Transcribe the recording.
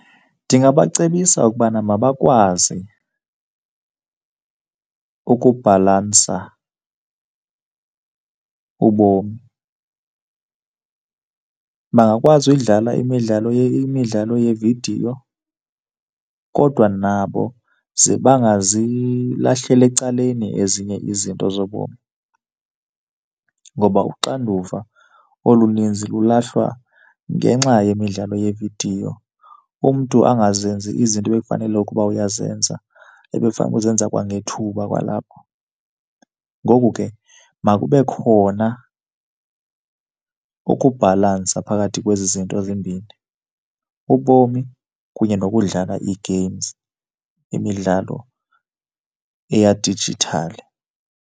Ndingabacebisa ukubana mabakwazi ukubhalansa ubomi. Bangakwazi uyidlala imidlalo, imidlalo yeevidiyo kodwa nabo ze bangazilahleli ecaleni ezinye izinto zobomi ngoba uxanduva oluninzi lulahlwa ngenxa yemidlalo yeevidiyo, umntu angazenzi izinto ebekufanele ukuba uyazenza, ebekufunele uzenza kwangethuba kwalapha. Ngoku ke makube khona ukubhalansa phakathi kwezi zinto zimbini, ubomi kunye nokudlala ii-games, imidlalo eyadijithali.